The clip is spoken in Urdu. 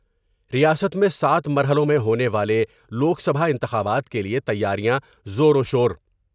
ریاست میں سات مرحلوں میں ہونے والے لوک سبھا انتخابات کے لئے تیاریاں زور وشور